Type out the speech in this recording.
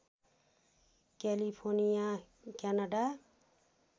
California Canada